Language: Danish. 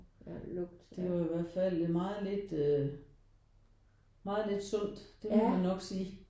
Det var i hvert fald meget lidt øh meget lidt sundt. Det må man nok sige